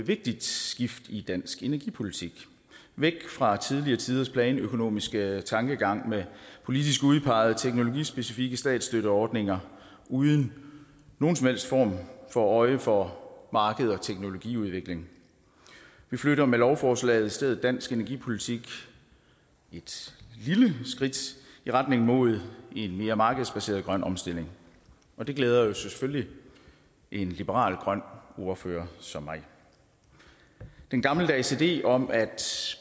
vigtigt skifte i dansk energipolitik væk fra tidligere tiders planøkonomiske tankegang med politisk udpegede teknologispecifikke statsstøtteordninger uden nogen som helst form for øje for marked og teknologiudvikling vi flytter med lovforslaget i stedet dansk energipolitik et lille skridt i retning mod en mere markedsbaseret grøn omstilling og det glæder jo selvfølgelig en liberal grøn ordfører som mig den gammeldags idé om at